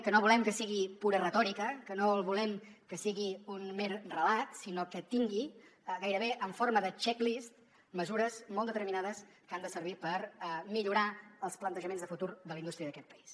que no volem que sigui pura retòrica que no volem que sigui un mer relat sinó que tingui gairebé en forma de check list mesures molt determinades que han de servir per millorar els plantejaments de futur de la indústria d’aquest país